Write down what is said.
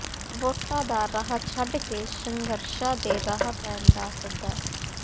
ਵੋਟਾਂ ਦਾ ਰਾਹ ਛੱਡ ਕੇ ਸੰਘਰਸ਼ਾਂ ਦੇ ਰਾਹ ਪੈਣ ਦਾ ਸੱਦਾ